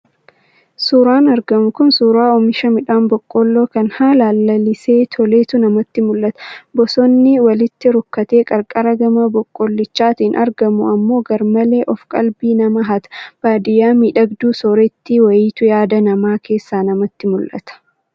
Suuraan argamu kun suuraa oomisha midhaan Boqqolloo kan haalaan lalisee, toletu namatti mul'ata. Bosonni walitti rukkatee qarqara gama Boqqollichaatiin argamu ammoo gar-malee of qalbii namaa hata. Baadiyaa miidhagduu soorettii wayiitu yaada namaa keessaa namatti mul'ata.